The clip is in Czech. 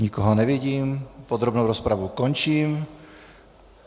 Nikoho nevidím, podrobnou rozpravu končím.